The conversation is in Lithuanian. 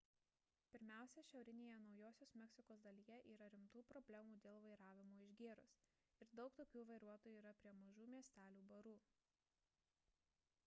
pirmiausia šiaurinėje naujosios meksikos dalyje yra rimtų problemų dėl vairavimo išgėrus ir daug tokių vairuotojų yra prie mažų miestelių barų